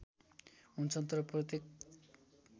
हुन्छन् तर प्रत्येक